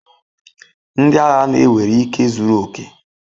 Ndị agha na-ewere ike zuru oke.